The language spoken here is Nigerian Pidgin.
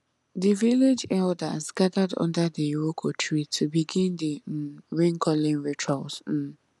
the village elders gathered under the iroko tree to begin the um rain calling rituals um